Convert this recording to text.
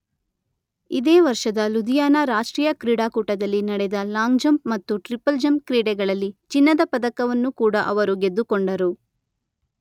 ಇದೇ ವರ್ಷದ ಲೂಧಿಯಾನ ರಾಷ್ಟ್ರೀಯ ಕ್ರೀಡಾಕೂಟದಲ್ಲಿ ನಡೆದ ಲಾಂಗ್ ಜಂಪ್ ಮತ್ತು ಟ್ರಿಪಲ್ ಜಂಪ್ ಕ್ರೀಡೆಗಳಲ್ಲಿ ಚಿನ್ನದ ಪದಕವನ್ನೂ ಕೂಡ ಅವರು ಗೆದ್ದುಕೊಂಡರು.